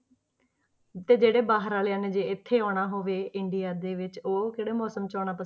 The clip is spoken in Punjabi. ਤੇ ਜਿਹੜੇ ਬਾਹਰ ਵਾਲਿਆਂ ਨੇ ਇੱਥੇ ਆਉਣਾ ਹੋਵੇ ਇੰਡੀਆ ਦੇ ਵਿੱਚ ਉਹ ਕਿਹੜੇ ਮੌਸਮ 'ਚ ਆਉਣਾ,